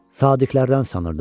Sadiqlərdən sanırdım.